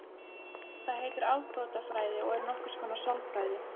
Það heitir afbrotafræði og er nokkurs konar sálfræði.